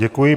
Děkuji.